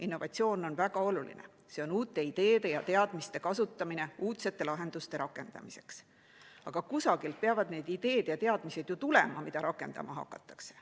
Innovatsioon on väga oluline, see on uute ideede ja teadmiste kasutamine uudsete lahenduste rakendamiseks, aga kusagilt peavad need ideed ja teadmised ju tulema, mida rakendama hakatakse.